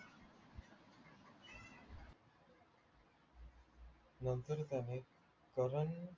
नंतर त्याने करण